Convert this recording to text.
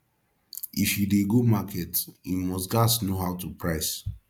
if yu dey go market yu must gas know how to price